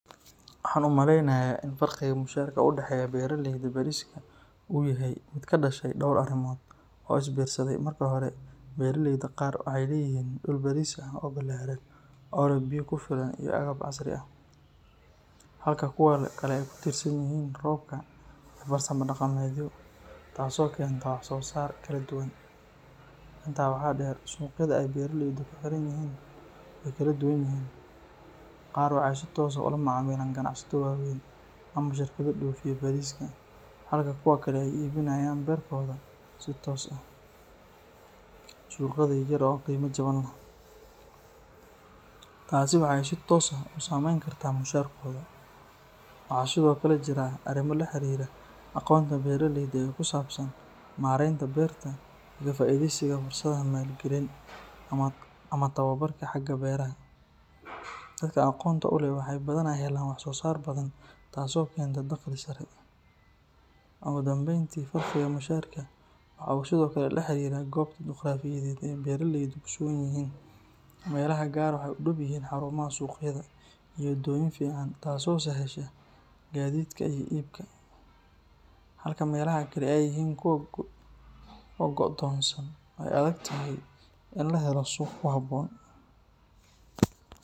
Waxaan u maleynayaa in farqiga mushaharka u dhexeeya beeraleyda bariska uu yahay mid ka dhashay dhowr arrimood oo is biirsaday. Marka hore, beeraleyda qaar waxay leeyihiin dhul baris ah oo ballaaran oo leh biyo ku filan iyo agab casri ah, halka kuwa kale ay ku tiirsan yihiin roobka iyo farsamo dhaqameedyo, taasoo keenta wax soo saar kala duwan. Intaa waxaa dheer, suuqyada ay beeraleydu ku xiran yihiin way kala duwan yihiin; qaar waxay si toos ah ula macaamilaan ganacsato waaweyn ama shirkado dhoofiya bariska, halka kuwa kale ay iibinayaan beerkooda si toos ah suuqyada yar yar oo qiimo jaban leh. Taasi waxay si toos ah u saameyn kartaa mushaharkooda. Waxaa sidoo kale jira arrimo la xiriira aqoonta beeraleyda ee ku saabsan maaraynta beerta iyo ka faa'iideysiga fursadaha maalgelin ama tababarka xagga beeraha. Dadka aqoonta u leh waxay badanaa helaan wax soo saar badan, taasoo keenta dakhli sare. Ugu dambeyntii, farqiga mushaharka waxa uu sidoo kale la xiriiraa goobta juqraafiyeed ee ay beeraleydu ku sugan yihiin; meelaha qaar waxay u dhow yihiin xarumaha suuqyada iyo wadooyin fiican, taasoo sahasha gaadiidka iyo iibka, halka meelaha kale ay yihiin kuwo go'doonsan oo ay adag tahay in la helo suuq ku habboon.